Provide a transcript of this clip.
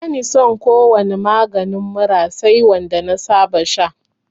Bani son ko wani maganin mura sai wanda na saba sha